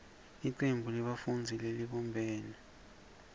licembu lebafundzi lelibumbene